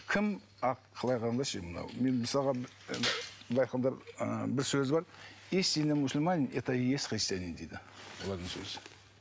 кім мен мысалға былай айтқанда ы бір сөзі бар истинный мусульманин это и есть христианин дейді бұлардың сөзі